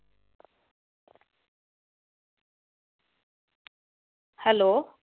hello